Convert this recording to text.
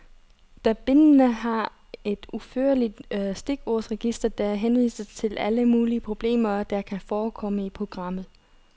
Alle bindene har et udførligt stikordsregister, der henviser til alle mulige problemer, der kan forekomme i programmet.